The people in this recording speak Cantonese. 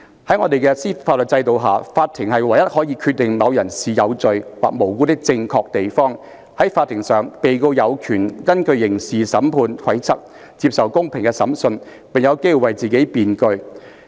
在我們的法律制度下，法庭是唯一可以決定某人是有罪或無辜的正確地方。在法庭上，被告有權根據刑事審判規則接受公平的審判，並有機為自己辯據。